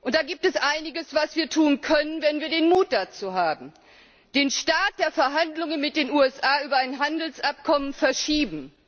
Da gibt es einiges, was wir tun können, wenn wir den Mut dazu haben den Start der Verhandlungen mit den USA über ein Handelsabkommen verschieben